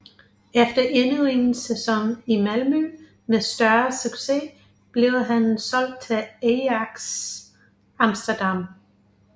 Efter endnu en sæson i Malmö med større succes blev han solgt til Ajax Amsterdam